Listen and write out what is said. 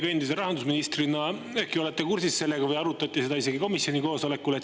Teie endise rahandusministrina äkki olete kursis sellega või arutati seda isegi komisjoni koosolekul.